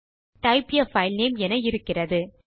type a file name என இருக்கிறது